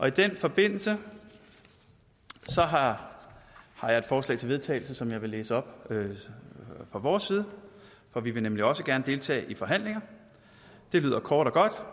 i den forbindelse har jeg et forslag til vedtagelse som jeg vil læse op fra vores side for vi vil nemlig også gerne deltage i forhandlinger det lyder kort og godt